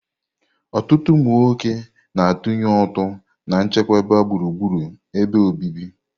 Ọtụtụ ụmụ nwoke na-atụnye ụtụ na nchekwa gburugburu ebe obibi.